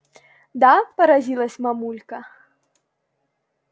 да поразилась мамулька